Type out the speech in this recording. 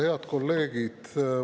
Head kolleegid!